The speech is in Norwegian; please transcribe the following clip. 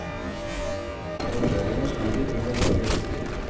Arrangørene sliter for å få tak i artister.